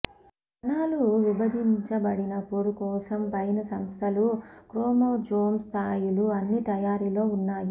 కణాలు విభజించబడినప్పుడు కోసం పైన సంస్థలు క్రోమోజోమ్ స్థాయిలు అన్ని తయారీలో ఉన్నాయి